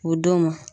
O don ma